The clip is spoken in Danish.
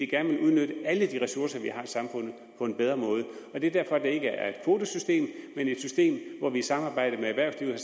gerne vil udnytte alle de ressourcer vi har i samfundet på en bedre måde det er derfor at det ikke er et kvotesystem men et system hvor vi i samarbejde med erhvervslivet